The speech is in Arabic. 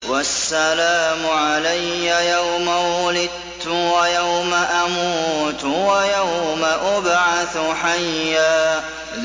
وَالسَّلَامُ عَلَيَّ يَوْمَ وُلِدتُّ وَيَوْمَ أَمُوتُ وَيَوْمَ أُبْعَثُ حَيًّا